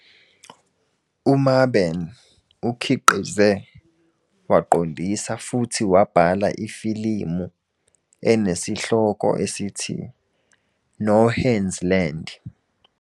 UMaben ukhiqize, waqondisa futhi wabhala ifilimu enesihloko esithi 'No Hands Land'